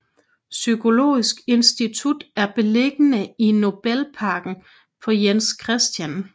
Psykologisk Institut er beliggende i Nobelparken på Jens Chr